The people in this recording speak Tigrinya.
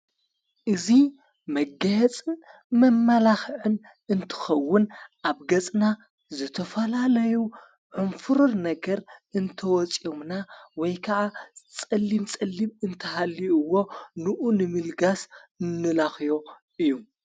እዙ መገየጽ መመላኽዕን እንትኸውን ኣብ ገጽና ዘተፈላለዩ ዕምፍሩር ነገር እንተወፂኦምና ወይ ከዓ ጸሊም ጸሊም እንተሃልዎ ንኡ ንምልጋስ ነላኽዮ እዩ።